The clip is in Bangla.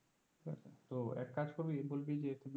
তো এক কাজ করবি বলবি যে